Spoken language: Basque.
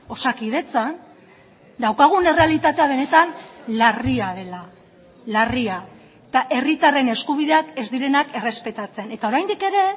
osakidetzan daukagun errealitatea benetan larria dela larria eta herritarren eskubideak ez direnak errespetatzen eta oraindik ere